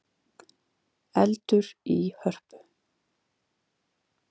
Eldur í Hörpu